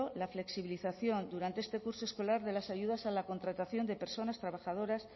la flexibilización durante este curso escolar de las ayudas a la contratación de personas trabajadoras